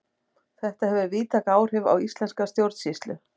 Þetta hefur víðtæk áhrif á íslenska stjórnsýslu.